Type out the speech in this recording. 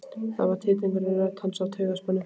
Það var titringur í rödd hans af taugaspennu.